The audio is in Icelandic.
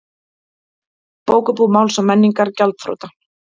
Bókabúð Máls og menningar gjaldþrota